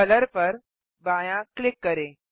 colour पर बायाँ click करें